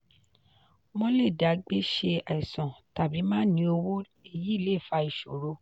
wọ́n le dá gbé ṣe àìsàn tàbí má ní owó èyí le fa ìṣòro.